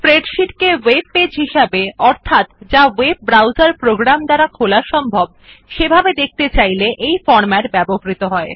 spreadsheet কে web page হিসাবে অর্থাৎ যা ওয়েব ব্রাউজার প্রোগ্রাম দ্বারা খোলা সম্ভব সেভাবে দেখাতে চাইলে এই ফরম্যাট ব্যবহৃত হয়